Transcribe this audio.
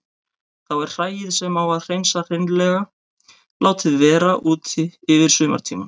Þá er hræið sem á að hreinsa hreinlega látið vera úti yfir sumartímann.